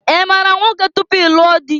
I maara nwoke tupu i lụọ dị?